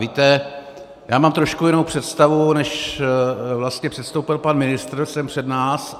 Víte, já mám trošku jinou představu, než vlastně předstoupil pan ministr sem před nás.